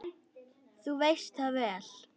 Þú veist það vel.